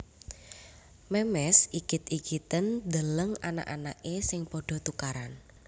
Memes igit igiten ndeleng anak anake sing podo tukaran